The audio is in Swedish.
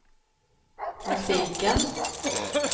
musiken